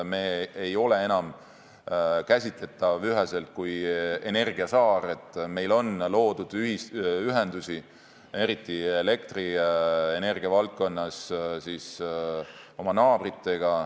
Me ei ole enam üheselt käsitletav kui energiasaar, meil on loodud ühendusi oma naabritega, eriti elektrienergia valdkonnas.